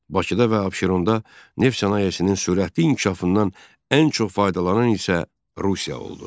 Bakıda və Abşeronda neft sənayesinin sürətli inkişafından ən çox faydalanan isə Rusiya oldu.